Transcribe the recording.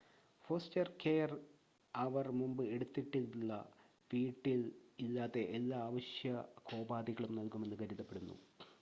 foster care അവർ മുമ്പ് എടുത്തിട്ടുള്ള വീട്ടിൽ ഇല്ലാത്ത എല്ലാ ആവശ്യകോപാധികളും നൽകുമെന്ന് കരുതപ്പെടുന്നു